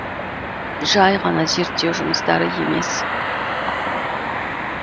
жай ғана зерттеу жұмыстары емес